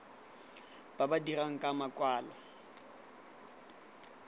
ba ba dirang ka makwalo